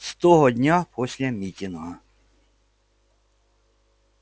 с того дня после митинга